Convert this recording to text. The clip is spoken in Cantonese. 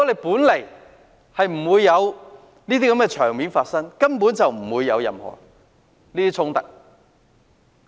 本來沒有這些場面，便根本不會出現任何衝突。